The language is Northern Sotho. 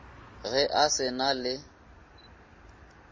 ge a se na le